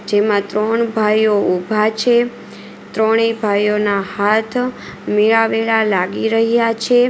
જેમાં ત્રણ ભાઈઓ ઉભા છે ત્રણેય ભાઈઓના હાથ મિલાવેલા લાગી રહ્યા છે.